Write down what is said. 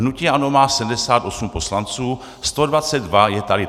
Hnutí ANO má 78 poslanců, 122 je tady.